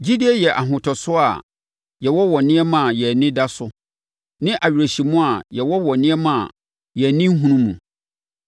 Gyidie yɛ ahotosoɔ a yɛwɔ wɔ nneɛma a yɛn ani da so ne awerɛhyɛmu a yɛwɔ wɔ nneɛma a yɛn ani nnhunu mu.